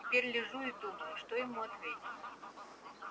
теперь лежу и думаю что ему ответить